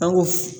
An ko